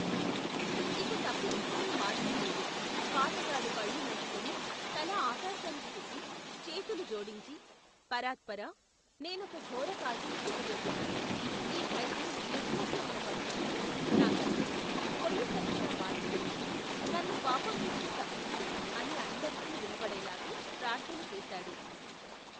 ఇక తప్పించుకునే మార్గం లేదు, పాటగాడు కళ్ళు మూసుకుని, తల ఆకాశానికి తిప్పి, చేతులు జోడించి, పరాత్పరా, నెనొక ఘోరకార్యం చేయబోతున్నాను, ఈ ఖైదీ నిర్దోషి అయిన పక్షంలో, నా కత్తిని, కొయ్యకత్తిగా మార్చివేసి, నన్ను పాపం నుంచి తప్పించు, అని అందరికీ వినబడేలాగు, ప్రార్ధనచేశాడు.